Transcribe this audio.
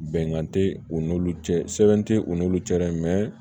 Bɛnkan tɛ u n'olu cɛ tɛ u n'olu cɛ dɛ